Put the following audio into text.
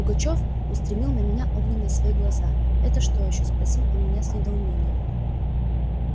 пугачёв устремил на меня огненные свои глаза это что ещё спросил он меня с недоумением